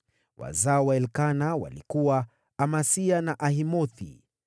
Wazao wa Elikana walikuwa: Amasai na Ahimothi,